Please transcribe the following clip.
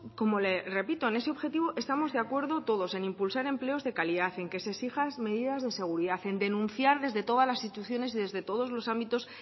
como le repito en ese objetivo estamos de acuerdo todos en impulsar empleos de calidad en que se exijan medidas de seguridad en denunciar desde todas las instituciones desde todos los ámbitos